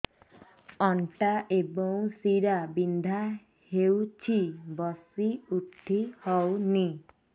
ଅଣ୍ଟା ଏବଂ ଶୀରା ବିନ୍ଧା ହେଉଛି ବସି ଉଠି ହଉନି